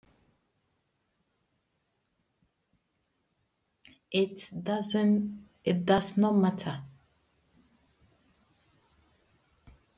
Það skiptir engu máli!